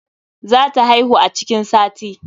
Za ta haihu a cikin sati.